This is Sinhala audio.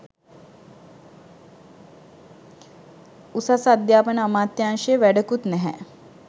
උසස් අධ්‍යාපන අමාත්‍යංශය වැඩකුත් නැහැ